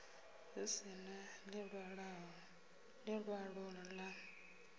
hu si na ḽiṅwalo ḽa